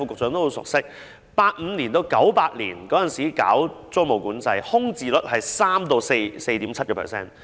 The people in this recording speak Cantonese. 在1985年至1998年實施租務管制時，空置率為 3% 至 4.7%。